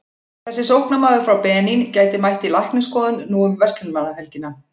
Þessi sóknarmaður frá Benín gæti mætt í læknisskoðun nú um verslunarmannahelgina.